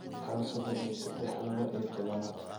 xali soddon iyo saddex laba iyo tobnaad